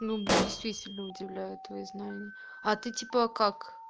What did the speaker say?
ну действительно удивляет твои знания а ты типа как